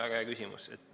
Väga hea küsimus.